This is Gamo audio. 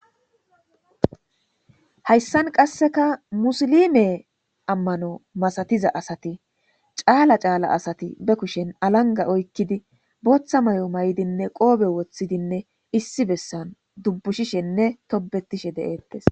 Hayssan qasseka musilime ammano masatiza asati caala caala asati be kushen alanga oykkidi booththa may7o may7dinne qoobe woththidinne issi bessan dubbushishenne tobetishe de7eettes.